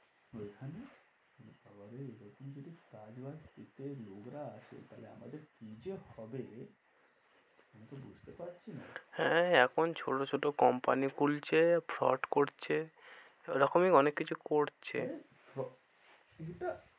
আসে তাহলে আমাদের কি যে হবে আমি তো বুঝতে পারছি না। হ্যাঁ এখন ছোটো ছোটো company খুলছে frowd করছে এই রকমই অনেক কিছু করছে